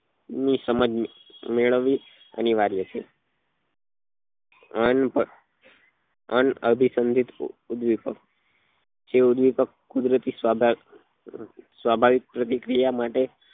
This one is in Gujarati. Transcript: ની સમજ મેળવવી અનિવાર્ય છે અનભ અનાભીસંદેપ ઉદ્વેપ્ક જે ઉદ્વેપ્ક્ કુદરતી સ્વભા સ્વાભાવિક પ્રતિક્રિયા માટે